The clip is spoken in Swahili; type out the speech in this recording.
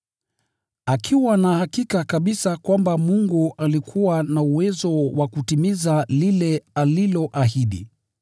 akiwa na hakika kabisa kwamba Mungu alikuwa na uwezo wa kutimiza lile aliloahidi.